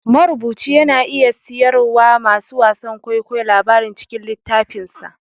Marubuci yana iya siyarwa masu wasan kwaikwayo labarin cikin littafinsa